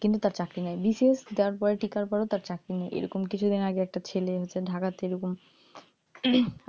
কিন্তু তার চাকরি নাই বিশেষ যার political বড়ো তার চাকরি নেই এরকম কিছুদিন আগে এরকম কিছুদিন আগে একটা ছেলে ঢাকা থেকে এরকম